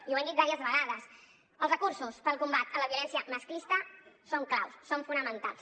i ho hem dit diverses vegades els recursos per al combat de la violència masclista són claus són fonamentals